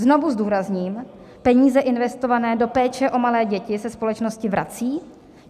Znovu zdůrazním, peníze investované do péče o malé děti se společnosti vracejí.